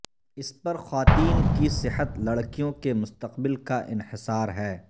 اس پر خواتین کی صحت لڑکیوں کے مستقبل کا انحصار ہے